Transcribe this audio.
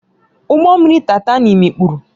Ụgbọ mmiri Taịtani mikpuru